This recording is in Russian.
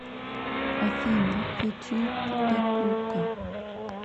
афина ютуб дакука